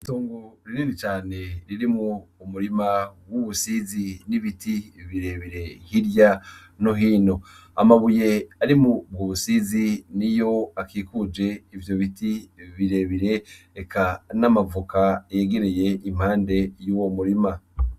Itongo rinini cane ririmwo umurima wubusizi n'ibiti birebire hirya no hino, amabuye ari muri mu busizi niyo akikuje ivyo biti birebire eka namavoka yegereye impande yuwo murima.